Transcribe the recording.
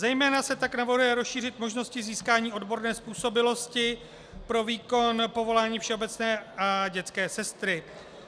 Zejména se tak navrhuje rozšířit možnosti získání odborné způsobilosti pro výkon povolání všeobecné a dětské sestry.